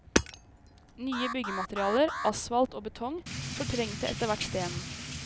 Nye byggematerialer, asfalt og betong, fortrengte etterhvert stenen.